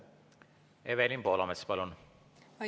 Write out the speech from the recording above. Evelin Poolamets, palun!